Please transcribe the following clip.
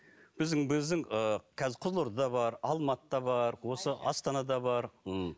біздің біздің ы қазір қызылордада бар алматыда бар осы астанада бар м